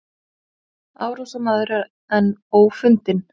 Árásarmaður enn ófundinn